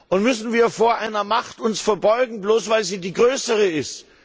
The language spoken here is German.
Und müssen wir uns vor einer Macht verbeugen, bloß weil sie die größere ist?